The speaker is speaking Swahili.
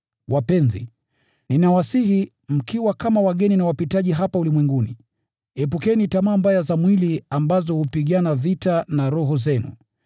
Wapenzi, ninawasihi, mkiwa kama wageni na wapitaji hapa ulimwenguni, epukeni tamaa mbaya za mwili ambazo hupigana vita na roho zenu.